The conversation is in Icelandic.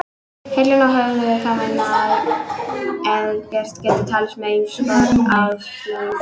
Heilinn og höfuðið er þá minna en eðlilegt getur talist með ýmis konar afleiðingum.